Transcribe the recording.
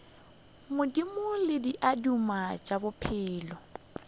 madimo le diaduma tša bophelo